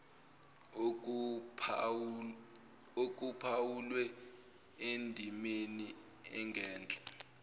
okuphawulwe endimeni engenhla